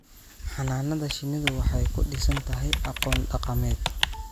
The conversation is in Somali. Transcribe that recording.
Xannaanada shinnidu waxay ku dhisan tahay aqoon dhaqameed.